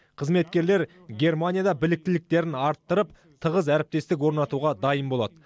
қызметкерлер германияда біліктіліктерін арттырып тығыз әріптестік орнатуға дайын болады